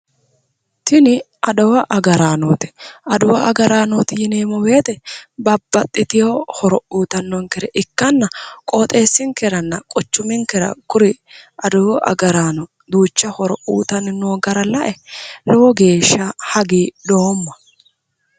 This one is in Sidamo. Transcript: Tini adawu agaraanooti. Adawu agaraanooti yineemmo woyite babbaxxitiwo horo uyitannonkere ikkanna qooxeessinkeranna quchuminkera kuri adawu agaraano duucha horo uyitanni noo gara lae lowo geeshsha hagiidhoomma.